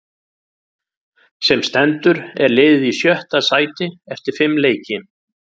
Sem stendur er liðið í sjötta sæti eftir fimm leiki.